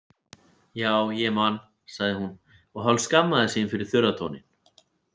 Já, ég man, sagði hún og hálfskammaðist sín fyrir þurra tóninn.